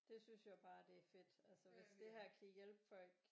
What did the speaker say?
Det synes jeg jo bare det er fedt hvis det her kan hjælpe folk